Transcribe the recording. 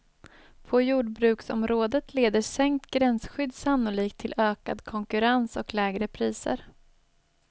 På jordbruksområdet leder sänkt gränsskydd sannolikt till ökad konkurrens och lägre priser.